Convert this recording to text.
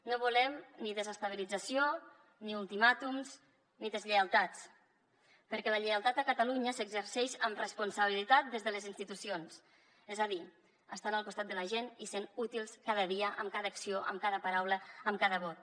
no volem ni desestabilització ni ultimàtums ni deslleialtats perquè la lleialtat a catalunya s’exerceix amb responsabilitat des de les institucions és a dir estant al costat de la gent i sent útils cada dia amb cada acció amb cada paraula amb cada vot